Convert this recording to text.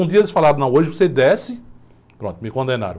Um dia eles falaram, não, hoje você desce, pronto, me condenaram.